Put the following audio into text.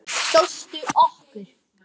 Kjóstu okkur.